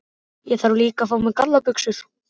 Þarf líka að fá mér gallabuxur.